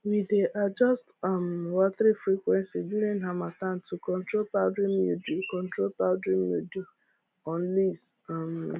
we dey adjust um watering frequency during harmattan to control powdery mildew control powdery mildew on leaves um